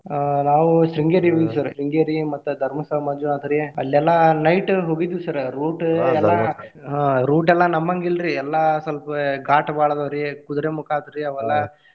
ಆಹ್ ನಾವು Sringeri ಗೆ ಹೋಗಿ Sringeri ಮತ್ತ Dharmasthala ಮಂಜುನಾಥರಿ ಅಲ್ಲಿ ಎಲ್ಲಾ night ಹೋಗಿದ್ವಿ sir route ಎಲ್ಲಾ ಹ್ಮ್ route ಎಲ್ಲಾ ನಮ್ಮಂಗ್ ಇಲ್ರಿ ಎಲ್ಲಾ ಸ್ವಲ್ಪ ಘಾಟ್ ಬಾಳ ಅದಾವ್ರಿ. Kudremukha ಅದುರಿ ಅವ್ ಎಲ್ಲಾ.